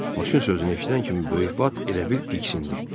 Maşın sözünü eşidən kimi böyük vat elə bil diksindi.